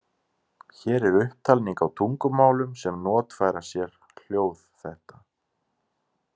Hér er upptalning á tungumálum sem notfæra sér hljóð þetta.